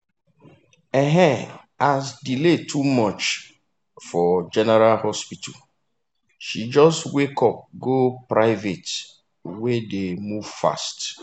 um as delay too much for general hospital she just waka go private wey dey move fast.